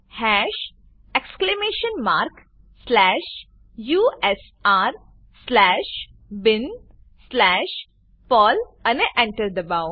હાશ exclamation mark slash U S R slash bin slash Perl અને Enter ડબાઓ